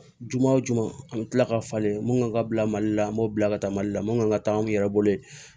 Juma wo juma an bɛ tila ka falen mun kan ka bila mali la an b'o bila ka taa mali la mun kan ka taa an yɛrɛ bolo ye